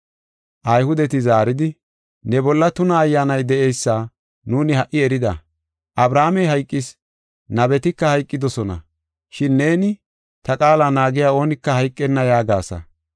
Ayhudeti zaaridi, “Ne bolla tuna ayyaanay de7eysa nuuni ha77i erida. Abrahaamey hayqis; nabetika hayqidosona. Shin neeni, ‘Ta qaala naagiya oonika hayqenna’ yaagasa.